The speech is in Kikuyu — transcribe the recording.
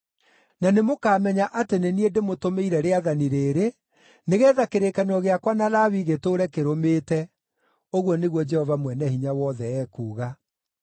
Na nĩmũkamenya atĩ nĩ niĩ ndĩmũtũmĩire rĩathani rĩrĩ, nĩgeetha kĩrĩkanĩro gĩakwa na Lawi gĩtũũre kĩrũmĩte,” ũguo nĩguo Jehova Mwene-Hinya-Wothe ekuuga.